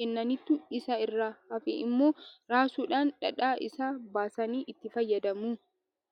kennaniitu isa irraa hafe immoo raasuudhaan dhadhaa isaa baasanii itti fayyadamu.